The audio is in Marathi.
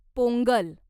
पोंगल